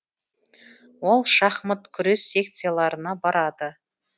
ол шахмат күрес секцияларына барады